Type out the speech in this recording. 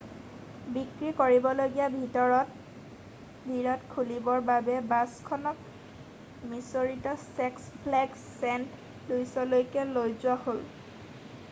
বিক্ৰীকৰিবলগীয়া ভিৰত খুলিবৰ বাবে বাছখনক মিচৰিত ছিক্স ফ্লেগছ চেণ্ট লুউছলৈকে লৈ যোৱা হ'ল